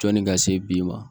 Jɔnni ka se bi ma